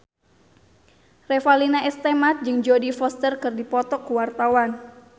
Revalina S. Temat jeung Jodie Foster keur dipoto ku wartawan